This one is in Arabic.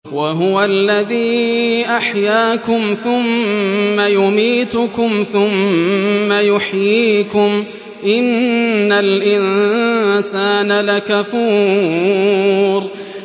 وَهُوَ الَّذِي أَحْيَاكُمْ ثُمَّ يُمِيتُكُمْ ثُمَّ يُحْيِيكُمْ ۗ إِنَّ الْإِنسَانَ لَكَفُورٌ